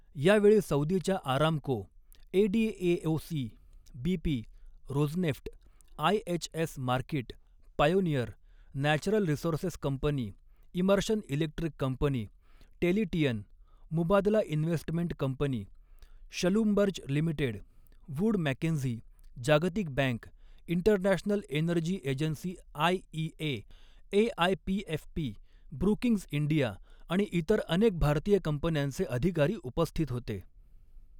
यावेळी सौदीच्या Aramco, ADNOC, BP, Rosneft, IHS Markit, Pioneer, Natural Resources Company, Emerson Electric Company, Tellurian, Mubadala Investment Company, Schlumberger Limited, Wood Mackenzie, जागतिक Bank, International Energy Agency IEA, AIPFP, Brookings India आणि इतर अनेक भारतीय कंपन्यांचे अधिकारी उपस्थित होते.